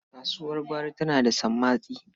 Kasuwar gwari tana da sammatsi.